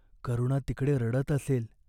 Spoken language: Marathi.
करुणा तिकडे रडत असेल.